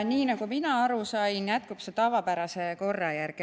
Nii nagu mina aru sain, jätkub see tavapärase korra järgi.